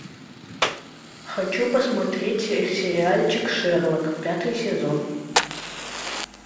хочу посмотреть сериальчик шерлок пятый сезон